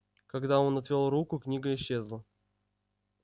когда он отвёл руку книга исчезла